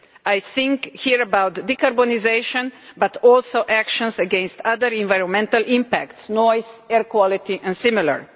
I am thinking here about decarbonisation but also about actions against other environmental impacts noise, air quality and similar.